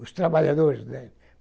Os trabalhadores, né?